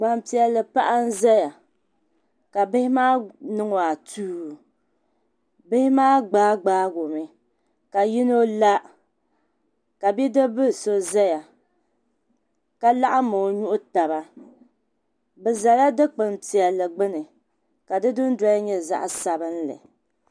Gbanpiɛli paɣa n ʒɛya ka bihi maa niŋ o atuu bihi maa gbaa gbaago mi ka yino la ka bidib bili so ʒɛya ka laɣam o nuhi taba bi ʒɛla dikpuni piɛlli gbuni ka di dundoli nyɛ zaɣ sabinli